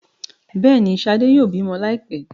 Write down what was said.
Béèni, shade yóò bímọ laipẹ.